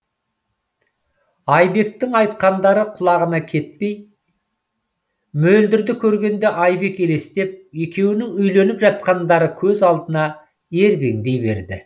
айбектің айтқандары құлағынан кетпей мөлдірді көргенде айбек елестеп екеуінің үйленіп жатқандары көз алдына ербеңдей берді